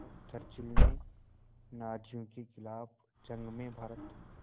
जब चर्चिल ने नाज़ियों के ख़िलाफ़ जंग में भारत